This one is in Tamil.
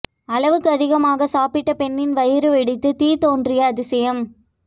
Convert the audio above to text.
அளவுக்கு அதிகமாக சாப்பிட்ட பெண்ணின் வயிறு வெடித்து தீ தோன்றிய அதிசயம்